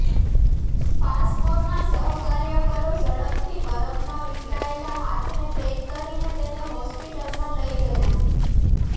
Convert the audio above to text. પાસમોરના સહકાર્યકરો ઝડપથી બરફમાં વિખેરાયેલા હાથને પૅક કરીને તેને હોસ્પિટલમાં લઇ ગયા